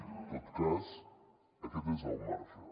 en tot cas aquest és el marge